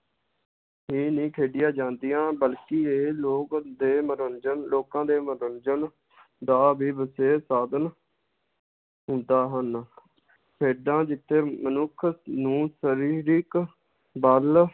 ਹੀ ਨੀ ਖੇਡੀਆਂ ਜਾਂਦੀਆਂ ਬਲਕਿ ਇਹ ਲੋਗ ਦੇ ਮਨੋਰੰਜਨ ਲੋਕਾਂ ਦੇ ਮਨੋਰੰਜਨ ਦਾ ਵੀ ਵਿਸ਼ੇਸ਼ ਸਾਧਨ ਹੁੰਦਾ ਹਨ ਖੇਡਾਂ ਜਿੱਥੇ ਮਨੁੱਖ ਨੂੰ ਸ਼ਰੀਰਿਕ ਬਲ